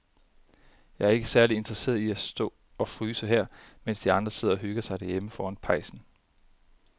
Jeg er ikke særlig interesseret i at stå og fryse her, mens de andre sidder og hygger sig derhjemme foran pejsen.